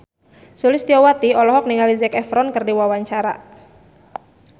Sulistyowati olohok ningali Zac Efron keur diwawancara